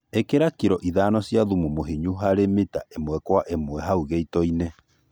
ĩkĩra kĩlo ĩthano cĩa thũmũ mũhĩnyũ harĩ mĩta ĩmwe kwa ĩmwe haũ gĩĩto-ĩnĩ